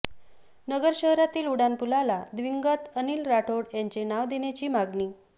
नगर शहरातील उड्डाणपुलाला दिवंगत अनिल राठोड यांचे नाव देण्याची मागणी